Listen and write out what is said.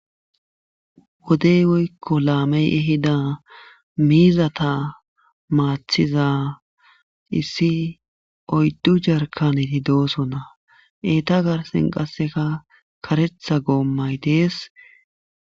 Wode woyko lame ehida mizata matida issi oydu jarkaneti dosona eta garsen qaseka karetha gomay des.